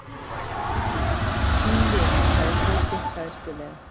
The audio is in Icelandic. Snúum við sagði Tóti hræðslulega.